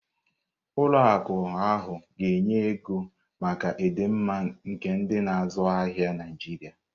Ụlọ akụ ahụ ga-enye ọrụ ego maka ịdị mma nke ndị na-azụ ahịa Naijiria.